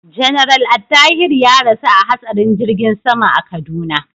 General Attahiru ya rasu a hatsarin jirgin sama a Kaduna.